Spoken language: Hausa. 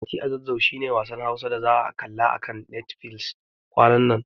Mati a Zazzau shi ne wasan Hausa da za'a kalla a kan Netfilis kwanan nan.